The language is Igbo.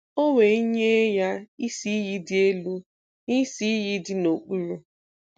O we nye ya isi-iyi di elu, na isi-iyi di n'okpuru.